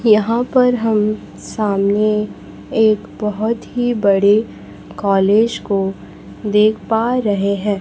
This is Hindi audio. यहाँ पर हम सामने एक बहोत ही बड़े कॉलेज को देख पा रहे है।